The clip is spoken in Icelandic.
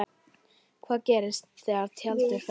Hvað gerist þegar tjaldið fellur?